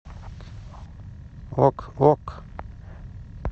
ок ок